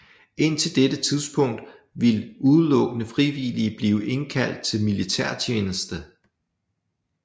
Indtil dette tidspunkt vil udelukkende frivillige blive indkaldt til militærtjeneste